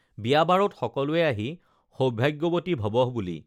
বিয়া বাৰুত সকলোৱে আহি সৌভাগ্যৱতী ভৱঃ বুলি